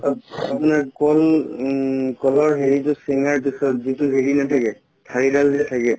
up আপোনাৰ কম উম কলৰ হেৰিটো চিঙাৰ পিছত যিতো হেৰি নাথাকে থাৰি দাল যে থাকে